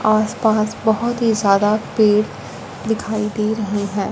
आस पास बहोत ही ज़्यादा पेड़ दिखाई दे रहे है।